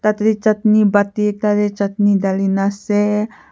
machu te chutney bati ekta te chutney dhalina ase.